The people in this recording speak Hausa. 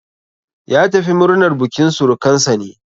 Ya tafi murnar bukin surukansa ne.